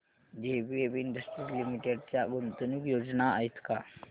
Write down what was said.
JBF industries limited च्या गुंतवणूक योजना आहेत का